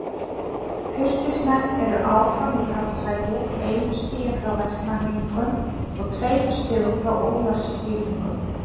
Fylkismenn eru áfram í fallsæti, einu stigi frá Vestmannaeyingum og tveimur stigum frá Ólafsvíkingum.